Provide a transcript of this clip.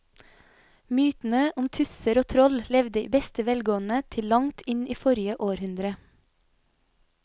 Mytene om tusser og troll levde i beste velgående til langt inn i forrige århundre.